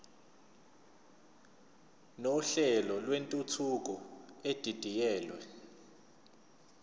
nohlelo lwentuthuko edidiyelwe